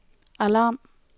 alarm